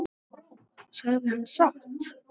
Sagði hann satt?